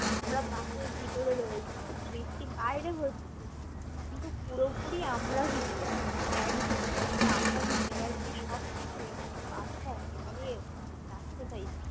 আমরা bus এর ভেতরে রয়েছি বৃষ্টি বাইরে হচ্ছে কিন্তু পুরোপরি আমরা ভিজে যাচ্ছি bag ভিজে গেছে আমরা ভিজে গেছি সবকিছুই bus তা একেবারেই যাচ্ছেতাই